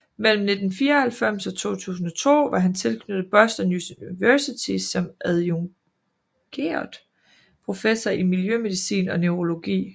Mellem 1994 og 2002 var han tilknyttet Boston University som adjungeret professor i miljømedicin og neurologi